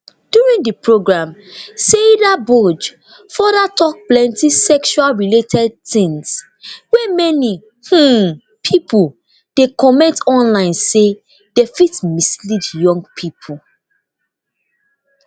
during di programme saidaboj futher tok plenti sexual related tins wey many um pipo dey comment online say dey fit mislead young pipo